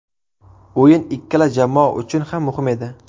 O‘yin ikkala jamoa uchun ham muhim edi.